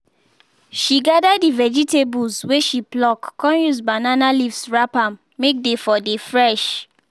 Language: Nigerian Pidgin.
she gather the vegetables wey she pluck con use banana leaves wrap am may dey for dey fresh.